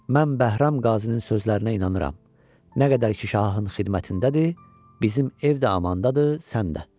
Mən Bəhram Qazinin sözlərinə inanıram, nə qədər ki şahın xidmətindədir, bizim ev də amandadır, sən də."